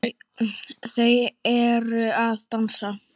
Þau eru að dansa